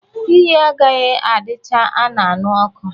Iyi agaghị adicha a na-añu ọkụ